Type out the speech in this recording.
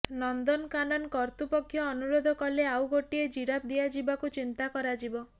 ନନ୍ଦନକାନନ କର୍ତ୍ତୃପକ୍ଷ ଅନୁରୋଧ କଲେ ଆଉ ଗୋଟିଏ ଜିରାଫ ଦିଆଯିବାକୁ ଚିନ୍ତା କରାଯିବ